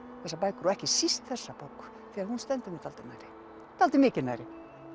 þessar bækur og ekki síst þessa bók því hún stendur mér dálítið nærri dálítið mikið nærri